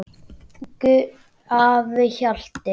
Elsku afi Hjalti.